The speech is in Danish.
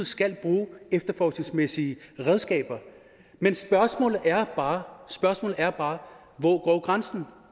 skal bruge efterforskningsmæssige redskaber men spørgsmålet er bare er bare hvor går grænsen